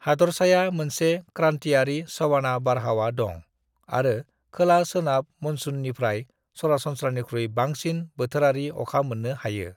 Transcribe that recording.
हादरसाय मोनसे क्रान्टियारि सवाना बारहावा दं आरो खोला-सोनाब मनसूननिफ्राय सरासनस्रानिख्रुय बांसिन बोथोरारि अखा मोन्नो हायो।